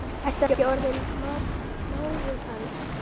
Ertu ekki orðinn mágur hans?